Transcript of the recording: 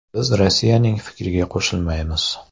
Biz Rossiyaning fikriga qo‘shilmaymiz.